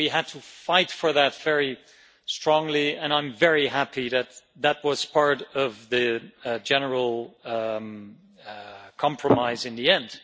We had to fight for that very strongly and I'm very happy that that was part of the general compromise in the end.